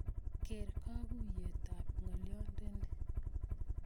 Keer kakuuyeet ab ngolyondeni